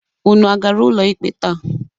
Unu agara ụlọ ikpe taa?